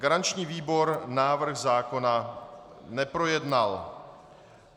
Garanční výbor návrh zákona neprojednal.